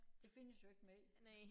Det findes jo ikke mere